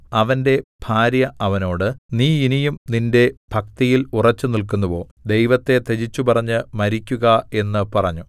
അവന്റെ ഭാര്യ അവനോട് നീ ഇനിയും നിന്റെ ഭക്തിയിൽ ഉറച്ചുനില്ക്കുന്നുവോ ദൈവത്തെ ത്യജിച്ചുപറഞ്ഞ് മരിക്കുക എന്ന് പറഞ്ഞു